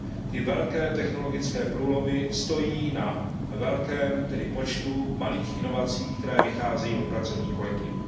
ty velké technologické průlomy stojí na velkém počtu malých inovací, které vycházejí od pracovních kolektivů.